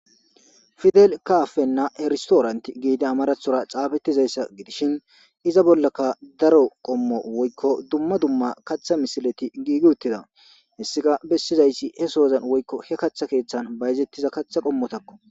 Fidel kaafenna erstoorante giide amarathora xaafettizayssa gidishin iza bollaka daro qommo woykko dumma dumma kaththa misileti giigi uttida hessika bessizaysi he soozan woykko he kaththa keeththan bayezettiza katha qommotakko.